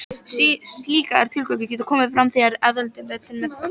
Slíkar tillögur geta komið fram þegar aðaltillaga er til meðferðar.